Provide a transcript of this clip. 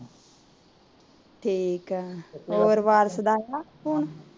ਠੀਕ ਏ, ਹੋਰ ਵਾਰਸ ਦਾ ਆਇਆ ਫ਼ੋਨ